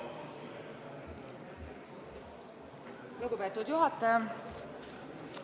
Lugupeetud juhataja!